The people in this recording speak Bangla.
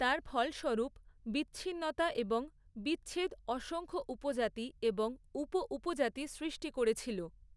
তার ফলস্বরূপ বিচ্ছিন্নতা এবং বিচ্ছেদ অসংখ্য উপজাতি এবং উপ উপজাতি সৃ্ষ্টি করেছিল।